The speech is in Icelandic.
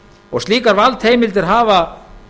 og slíkar valdheimildir hafa